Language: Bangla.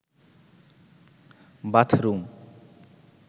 বাথরুম